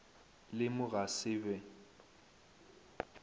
le mo ga se be